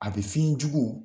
A be fiɲɛjugu